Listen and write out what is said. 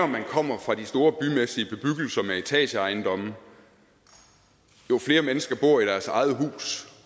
man kommer fra de store bymæssige bebyggelser med etageejendomme jo flere mennesker bor i deres eget hus